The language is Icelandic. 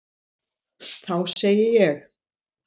Þá segi ég.